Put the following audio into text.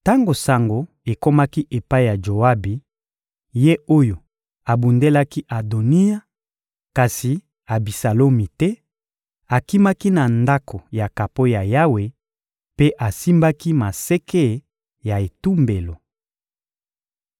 Tango sango ekomaki epai ya Joabi, ye oyo abundelaki Adoniya kasi Abisalomi te, akimaki na Ndako ya kapo ya Yawe mpe asimbaki maseke ya etumbelo.